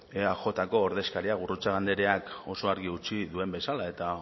eajko ordezkariak gurrutxaga andreak oso argi utzi duen bezala eta